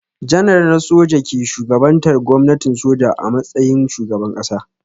Janar na soja ke shugabantar gwamnatin soja a matsayin shugaban ƙasa.